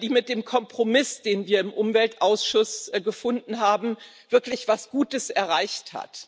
die mit dem Kompromiss, den wir im Umweltausschuss gefunden haben, wirklich etwas Gutes erreicht hat.